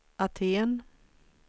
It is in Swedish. Aten